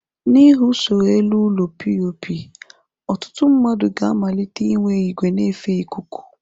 N'ihi usoro elu ụlọ POP, ọtụtụ ndị mmadụ ga amalitee inwe igwe nefe ikuku.